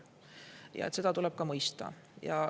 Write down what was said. Ja seda tuleb mõista.